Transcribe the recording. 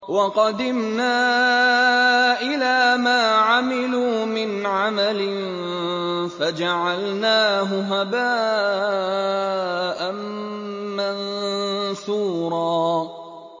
وَقَدِمْنَا إِلَىٰ مَا عَمِلُوا مِنْ عَمَلٍ فَجَعَلْنَاهُ هَبَاءً مَّنثُورًا